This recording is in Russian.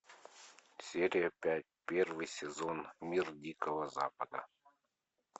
серия пять первый сезон мир дикого запада